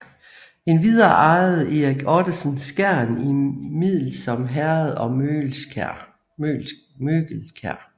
Endvidere ejede Erik Ottesen Skjern i Middelsom Herred og Møgelkjær